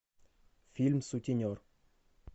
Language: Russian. фильм сутенер